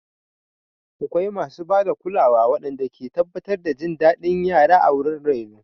Akwai masu ba da kulawa waɗanda ke tabbatar da jin daɗin yara a wurin raino.